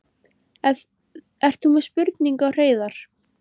Ert þú með spurningu á Hreiðar?